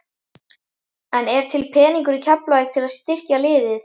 En er til peningur í Keflavík til að styrkja liðið?